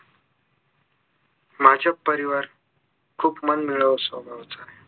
माझे परिवार खूप मनमिळाऊ स्वभावाचा आहे